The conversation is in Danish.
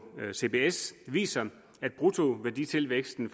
ved cbs viser at bruttoværditilvæksten